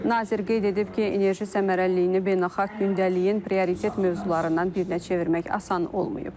Nazir qeyd edib ki, enerji səmərəliliyini beynəlxalq gündəliyin prioritet mövzularından birinə çevirmək asan olmayıb.